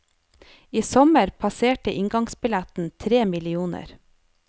I sommer passerte inngangsbilletten tre millioner.